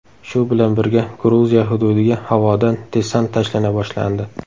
Shu bilan birga, Gruziya hududiga havodan desant tashlana boshlandi.